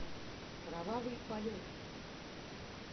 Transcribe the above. кровавый полет